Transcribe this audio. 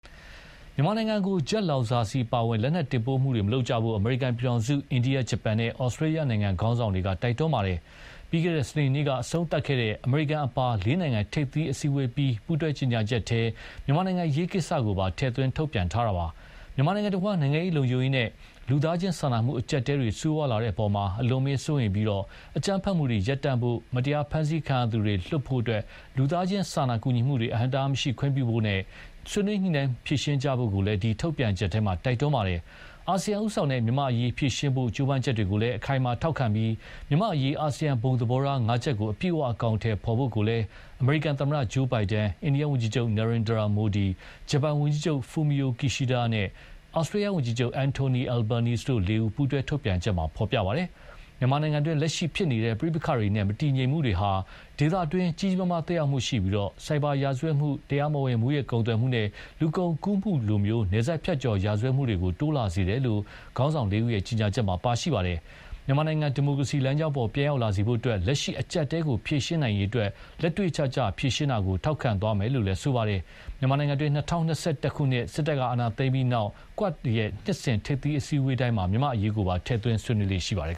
မြန်မာနိုင်ငံကို ဂျက်လောင်စာဆီအပါအဝင် လက်နက်တင်ပို့မှုတွေမလုပ်ကြဖို့ အမေရိကန်ပြည်ထောင်စု၊ အိန္ဒိယ၊ ဂျပန်နဲ့ ဩစတြေးလျနိုင်ငံ ခေါင်းဆောင်တွေက တိုက်တွန်းခဲ့ပါတယ်။ ပြီးခဲ့တဲ့ စနေနေ့က အဆုံးသတ်ခဲ့တဲ့ အမေရိကန်အပါလေးနိုင်ငံ ထိပ်သီးအစည်းအဝေးအပြီး ပူးတွဲကြေညာချက်ထဲ မြန်မာ့အရေးကိစ္စကိုပါ ထည့်သွင်းထုတ်ပြန်ထားတာပါ။ မြန်မာနိုင်ငံတဝန်း နိုင်ငံရေး၊ လုံခြုံရေးနဲ့ လူသားချင်းစာနာမှုအကျပ်အတည်းတွေ ဆိုးဝါးလာတဲ့အပေါ် အလွန်အမင်းစိုးရိမ်ပြီး အကြမ်းဖက်မှုတွေရပ်တန့်ဖို့၊ မတရားဖမ်းဆီးခံရသူတွေ လွှတ်ပေးဖို့၊ လူသားချင်းစာနာကူညီမှုတွေအဟန့်အတားမရှိခွင့်ပြုဖို့နဲ့ ဆွေးနွေးညှိနှိုင်းဖြေရှင်းကြဖို့ကိုလည်း ဒီ ထုတ်ပြန်ချက်ထဲ တိုက်တွန်းပါတယ်။ အာဆီယံဦးဆောင်တဲ့ မြန်မာ့အရေးဖြေရှင်းဖို့ ကြိုးပမ်းချက်တွေကို အခိုင်အမာထောက်ခံပြီး မြန်မာ့အရေး အာဆီယံဘုံသဘောထားငါးချက်ကို အပြည့်အဝအကောင်အထည်ဖော်ဖို့ကိုလည်း အမေရိကန်သမ္မတ Joe Biden ၊ အိန္ဒိယဝန်ကြီးချုပ် Narendra Modi ၊ ဂျပန်ဝန်ကြီးချုပ် Kishida Fumio နဲ့ ဩစတြေးလျှ ဝန်ကြီးချုပ် Anthony Albanese တို့လေးဦး ပူးတွဲထုတ်ပြန်ချက်မှာ ဖော်ပြပါတယ်။ မြန်မာနိုင်ငံတွင်း လက်ရှိဖြစ်နေတဲ့ပဋိပက္ခတွေနဲ့ မတည်ငြိမ်မှုတွေဟာ ဒေသတွေကို ကြီးကြီးမားမားသက်ရောက်မှုရှိပြီးဆိုက်ဘာရာဇတ်မှု၊ တရားမဝင်မူးယစ်ကုန်သွယ်မှုနဲ့ လူကုန်ကူးမှုလို နယ်စပ်ဖြတ်ကျော်ရာဇဝတ်မှုတွေ တိုးလာစေတယ်လို့လည်း ခေါင်းဆောင်လေးဦးရဲ့ ကြေညာချက်မှာ ပါရှိပါတယ်။ မြန်မာနိုင်ငံ ဒီမိုကရေစီလမ်းကြောင်းပေါ် ပြန်ရောက်လာစေဖို့အတွက် လက်ရှိအကျပ်အတည်းကို ဖြေရှင်းနိုင်ရေးအတွက် လက်တွေ့ကျကျ ဖြေရှင်းတာကို ထောက်ခံသွားမယ်လို့လည်း ဆိုပါတယ်။ မြန်မာနိုင်ငံတွင်း ၂၀၂၁ ခုနှစ် စစ်တပ်က အာဏာသိမ်းပြီးနောက် QUAD နှစ်စဉ်ထိပ်သီးအစည်းအဝေးတိုင်းမှာ မြန်မာ့အရေးကိုပါ ထည့်သွင်းဆွေးနွေးလေ့ရှိပါတယ်